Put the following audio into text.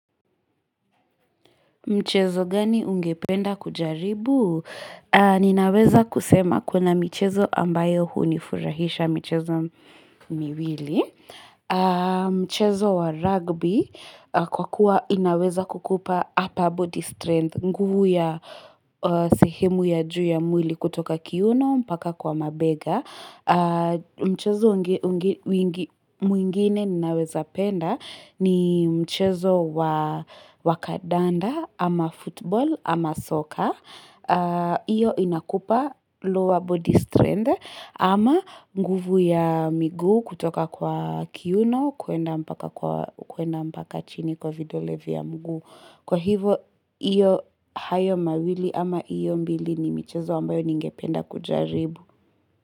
Mchezo gani ungependa kujaribu? Ninaweza kusema kuna michezo ambayo hunifurahisha michezo miwili. Mchezo wa rugby kwa kuwa inaweza kukupa upper body strength. Nguvu ya sehemu ya juu ya mwili kutoka kiuno mpaka kwa mabega. Mchezo mwingine ninaweza penda ni mchezo wa kandanda. Ama football, ama soccer hiyo inakupa lower body strength ama nguvu ya miguu kutoka kwa kiuno kuenda mpaka kwa kuenda mpaka chini kwa vidole vya mguu, kwa hivyo iyo hayo mawili ama hiyo mbili ni michezo ambayo ningependa kujaribu.